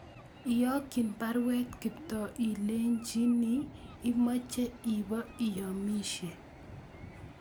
Iyokyin baruet Kiptoo ilenchini imoche ibo iyomisye